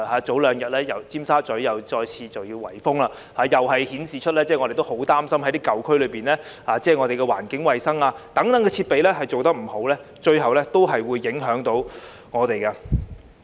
早兩天，尖沙咀又再次有圍封行動，這顯示出——我們十分擔心——舊區大廈有關環境衞生的設備做得不好，最後是會影響我們的。